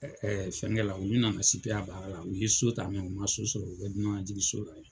fɛnkɛ la u nana baara la u ye so ta u man so sɔrɔ u bɛ dunan najigi so la ye.